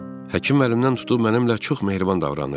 Həkim məndən tutub mənimlə çox mehriban davranır.